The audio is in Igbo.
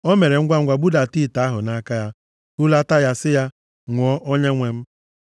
Ọ mere ngwangwa budata ite ahụ nʼaka ya, hulata ya si ya, “Ṅụọ, onyenwe m.”